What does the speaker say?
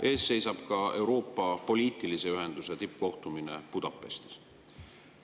Ees seisab ka Euroopa poliitilise ühenduse tippkohtumine Budapestis.